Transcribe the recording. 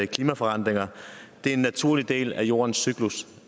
klimaforandringer er en naturlig del af jordens cyklus